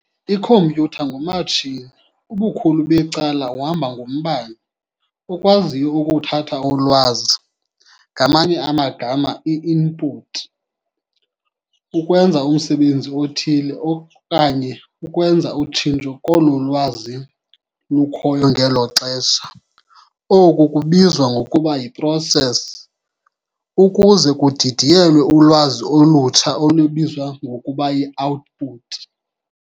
Ikhompyutha ngu-matshini, ubukhulu becala uhamba ngombane, okwaziyo ukuthatha ulwazi, ngamanye amagama i-input, ukwenza umsebenzi othile okanye ukwenza utshintsho kolo lwazi lukhoyo ngelo xesha, oku kubizwa ngokuba yi-process, ukuze kudidiyelwe ulwazi olutsha olubizwa ngokuba yi-output.